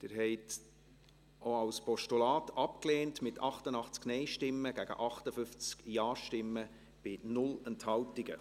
Sie haben dies auch als Postulat abgelehnt, mit 88 Nein- gegen 58 Ja-Stimmen bei 0 Enthaltungen.